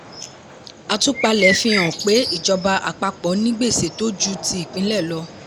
àtúpalẹ̀ fi hàn pé ìjọba àpapọ̀ ní gbèsè tó ju ti ìpínlẹ̀ lọ.